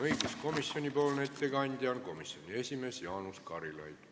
Õiguskomisjoni ettekandja on komisjoni esimees Jaanus Karilaid.